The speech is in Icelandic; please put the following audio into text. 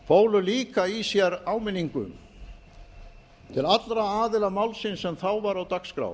fólu líka í sér áminningu til allra aðila málsins sem þá var á dagskrá